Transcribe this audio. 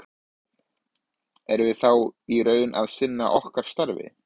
Erum við þá í raun að sinna okkar starfi?